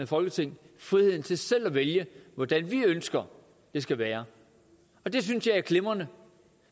folketing friheden til selv at vælge hvordan vi ønsker det skal være det synes jeg er glimrende